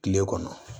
Kile kɔnɔ